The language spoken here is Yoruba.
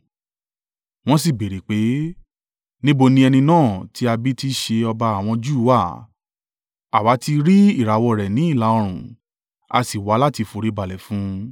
Wọ́n si béèrè pé, “Níbo ni ẹni náà tí a bí tí í ṣe ọba àwọn Júù wà? Àwa ti rí ìràwọ̀ rẹ̀ ní ìlà-oòrùn, a sì wá láti foríbalẹ̀ fún un.”